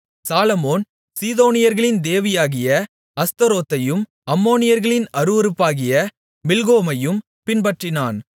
சாலொமோன் சீதோனியர்களின் தேவியாகிய அஸ்தரோத்தையும் அம்மோனியர்களின் அருவருப்பாகிய மில்கோமையும் பின்பற்றினான்